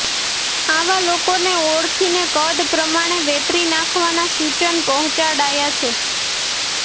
આવા લોકોને ઓળખીને કદ પ્રમાણે વેતરી નાખવાના સૂચન પહોંચાડાયા છે